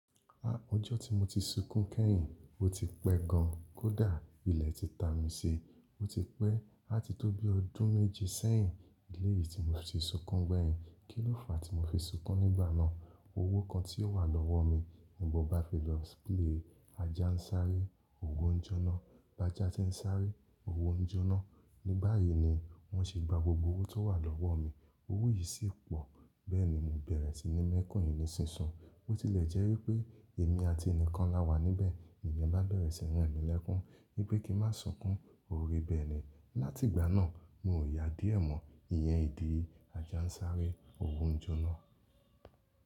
A, ọjọ́ tí mo ti sunkún kẹ́yìn, ó ti pẹ́ gan kó dà, ilẹ̀ ti ta mi si, ó ti pẹ́ láti tó bí ọdún méje sẹ́yìn. Eléyí tí mo ti ń sunkún gbẹ́yìn, kílòfa tí mo fi ń sunkún nígbà náà, owó kan tí ó wà lọ́wọ́ mi. Nímo bá fi lọ sílé, ajá ń sáré, òwò ń jóná. Bàjà tí ń sáré, òwò ń jóná. Ní báyìí ni wọ́n ṣe gba gbogbo owó tó wà lọ́wọ́ mi. Owó yìí sì pọ̀, bẹ́ẹ̀ni mo bẹ̀rẹ̀ sí ní mẹ́kún yì nísisun. Bo tilẹ̀ jẹ́ wípé èmi àti ẹni kan la wà níbẹ̀, iyen bá bẹ̀rẹ̀ sí ní re mi lẹ́kún, wípé kí n má sunkún, ó rí bẹ́ẹ̀ ni. Láti ìgbà náà, mi ò ya díẹ̀ mọ́ ìyẹn ìdí ajá ń sáré, òwò ń jóná.